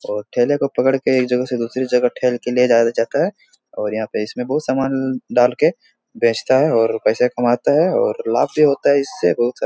और टेले को पकड़ के एक जगह से दूसरे जगह टेल के ले जाया जाता है और यहां पे इसमे बहुत सामान डाल के बेचता है और पैसा कमाता है और लाभ भी होता है। इससे बहुत सारा --